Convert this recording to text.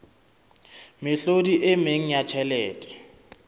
mehlodi e meng ya tjhelete